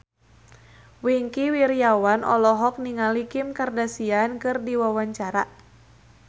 Wingky Wiryawan olohok ningali Kim Kardashian keur diwawancara